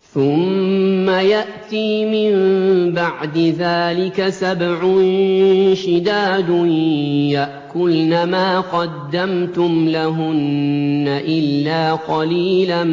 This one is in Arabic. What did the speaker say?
ثُمَّ يَأْتِي مِن بَعْدِ ذَٰلِكَ سَبْعٌ شِدَادٌ يَأْكُلْنَ مَا قَدَّمْتُمْ لَهُنَّ إِلَّا قَلِيلًا